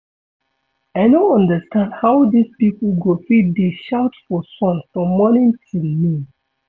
I no understand how dis people go fit dey shout for sun from morning till noon